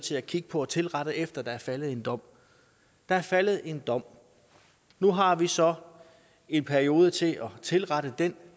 til at kigge på og tilrette efter der er faldet en dom der er faldet en dom nu har vi så en periode til at tilrette den